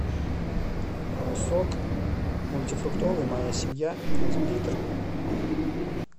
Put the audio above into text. сок мультифруктовый моя семья один литр